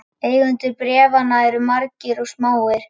Eigendur bréfanna eru margir og smáir.